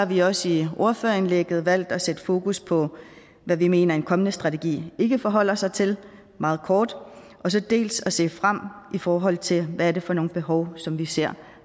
vi også i ordførerindlægget valgt dels at sætte fokus på hvad vi mener en kommende strategi ikke forholder sig til meget kort dels at se frem i forhold til hvad det er for nogle behov som vi ser